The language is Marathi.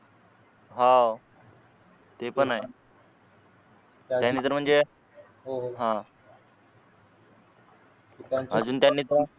हा आह ते पण आहे त्याने जर म्हणजे अजून त्याने तर